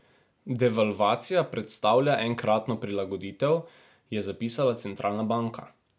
Devalvacija predstavlja enkratno prilagoditev, je zapisala centralna banka.